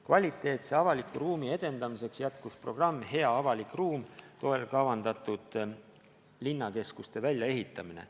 Kvaliteetse avaliku ruumi edendamiseks jätkus programmi "Hea avalik ruum" toel kavandatud linnakeskuste väljaehitamine.